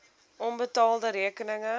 onbetaalde rekeninge